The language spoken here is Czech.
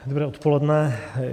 Dobré odpoledne.